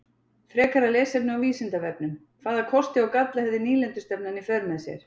Frekara lesefni á Vísindavefnum: Hvaða kosti og galla hafði nýlendustefnan í för með sér?